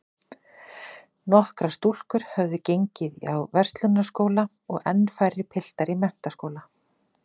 Nokkrar stúlkur höfðu gengið á Verslunarskóla og enn færri piltar í menntaskóla.